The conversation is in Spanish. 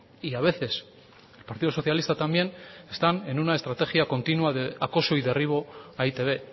y a veces el partido socialista también están en una estrategia continua de acoso y derribo a e i te be